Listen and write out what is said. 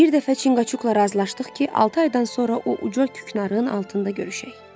Bir dəfə Çinqaçukla razılaşdıq ki, altı aydan sonra o uca küknarın altında görüşək.